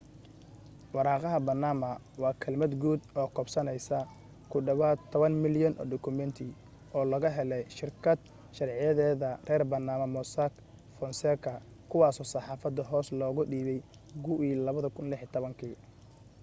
waraaqaha baanama waa kelmad guud oo koobsanaysa ku dhawaad toban milyan oo dukumeenti oo laga helay shirkad sharciyeeda reer baanama mossack fonseca kuwaasoo saxaafadda hoosta looga dhiibay gugii 2016